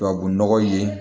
Tubabunɔgɔ ye